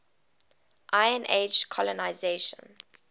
iron age colonisation